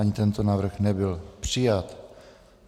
Ani tento návrh nebyl přijat.